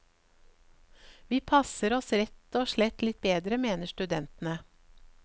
Vi passer oss rett og slett litt bedre, mener studentene.